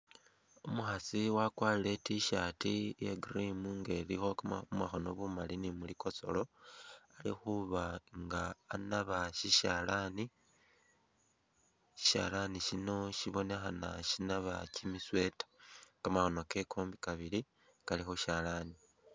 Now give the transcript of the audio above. Umukhasi wakwarile I't-shirt ya'cream nga ilikho kamakhono bumali ni khulikosolo, alikhuba nga anabasishalani shishalani sino sibonekhana sinaba kimi sweater kamakhono kewe kombi kabili Kali khushalani